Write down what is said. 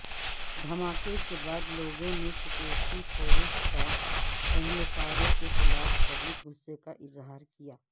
دھماکے کے بعد لوگوں نے سیکیورٹی فورس کے اہلکاروں کےخلاف شدید غصے کا اظہار کیا